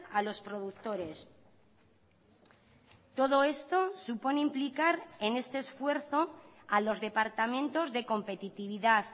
a los productores todo esto supone implicar en este esfuerzo a los departamentos de competitividad